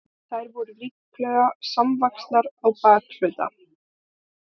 þær voru líklega samvaxnar á bakhluta